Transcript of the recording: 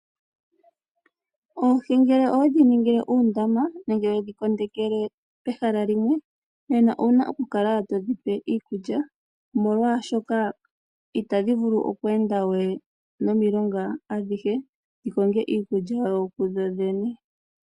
Oohi ngele owedhi ningile oondama nenge wedhi kondekele pehala limwe nena owuna oku kala todhi pe iikulya. Molwaashoka itadhi vulu we okweenda momilonga dhikonge iikulya kudho dhene.